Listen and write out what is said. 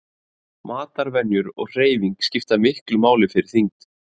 Matarvenjur og hreyfing skipta miklu máli fyrir þyngd.